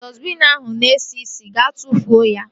Dọstbiin ahụ na esi isi. Gaa tụfuo ya!